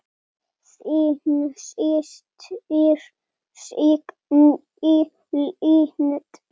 Þín systir, Signý Lind.